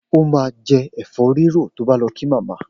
O ma jẹ́ ẹ̀fọ́rírò tó bá lọ kí màmá.